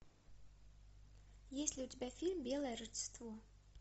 есть ли у тебя фильм белое родство